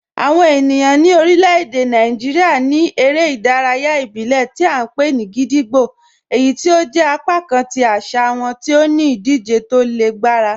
Awọn ènìyàn ni orílẹ̀-èdè Nàìjíríà ní èrè idàráyà ìbílẹ̀ tí a npe ni gídígbò, èyí tí ó jẹ̀ apakàn tí àṣà wọn ti ó ní idije tó lè gbarà.